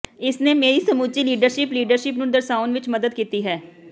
ਇਸ ਨੇ ਮੇਰੀ ਸਮੁੱਚੀ ਲੀਡਰਸ਼ਿਪ ਲੀਡਰਸ਼ਿਪ ਨੂੰ ਦਰਸਾਉਣ ਵਿੱਚ ਮਦਦ ਕੀਤੀ ਹੈ